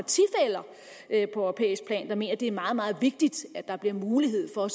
europæisk plan der mener at det er meget meget vigtigt at der bliver mulighed for